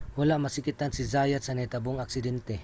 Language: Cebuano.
wala masakitan si zayat sa nahitabong aksidente